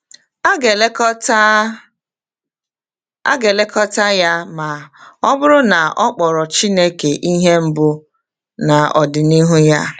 A ga-elekọta A ga-elekọta ya ma ọ bụrụ na ọ kpọrọ Chineke ihe mbụ n’ọdịnihu ya.